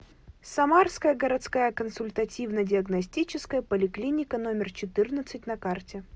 самарская городская консультативно диагностическая поликлиника номер четырнадцать на карте